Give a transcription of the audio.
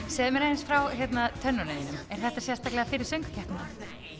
segðu mér aðeins frá tönnunum þínum er þetta sérstaklega fyrir söngvakeppnina